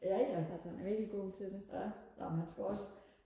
jaja ja ej men han skal også